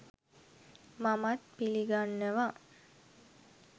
මමත් පිලිගන්නවා.